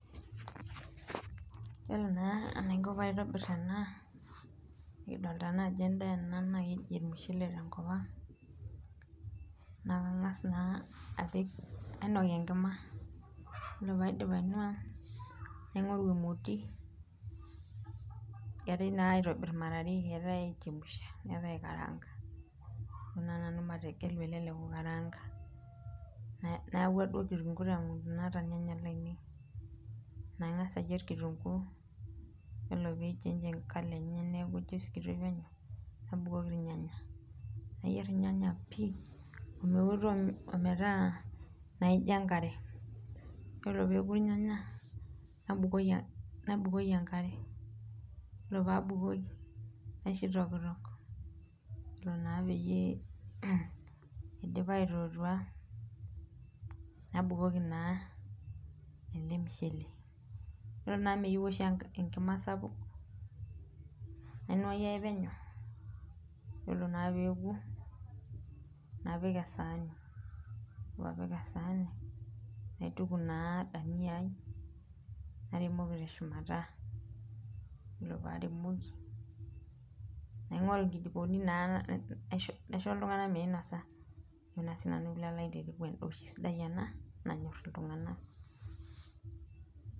Yiolo naa enaiko pee aitobir ena nikidolita naa ajo endaa ena naa keji ormushele tenkopang, naa kangas naa nainok enkima oree pee aidip ainua naingoru emoti ,eetae naa aitobir mara are etae aichemsha neeta eikaraanga, ntoo naa nanu mategelu ele lekukaraanga ,nayauwa duoo kitunguu naata irnyanya lainei ,naa ingas ayier kitunguu ore pee eichange encolour enye metaa ijo isikitoi penyo ,nabukoki irnyanya ,nayier irnyanya pii emeoto metaa naijo enkare .yiolo pee eku irnyanya nabukoki enkare yiolo pee abukoki naisho eitokitok ore pee eidip aitotua nabukoki naa ele mushele, ore naa amu meyieu oshi enkima sapuk ,nainuaaki ake penyo yiolo naa pee eku ,napik esaani ore pee apik esaani naituku naa dania ai naremoki teshumara ,ore pee aremoki ,naingoru nkijikoni naisho iltunganak meinosa ,endaa oshi siadi ena nanyor iltunganak.